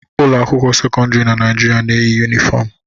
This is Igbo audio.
Ụlọ akwụkwọ sekọndrị na Naịjirịa na-eyi yunifom